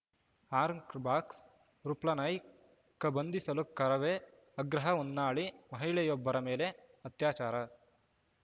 ಆಂರ್ಕ್ ಬಾಕ್ಸ್‌ ರೂಪ್ಲನಾಯ್ಕ್ ಬಂಧಿಸಲು ಕರವೇ ಆಗ್ರಹ ಹೊನ್ನಾಳಿ ಮಹಿಳೆಯೊಬ್ಬರ ಮೇಲೆ ಅತ್ಯಾಚಾರ